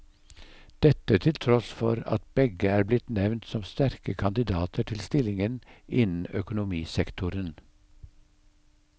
Dette til tross for at begge er blitt nevnt som sterke kandidater til stillinger innen økonomisektoren.